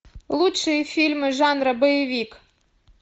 лучшие фильмы жанра боевик